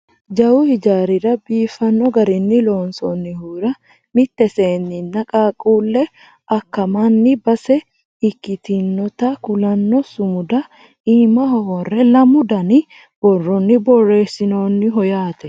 jawu hijaarira biifanno garinni loonsoonnihura mitte seennenna qaaqquulle akkammanni base ikkitinota kulanno sumuda iimaho worre lamu dani borronni borreessinoonniho yaate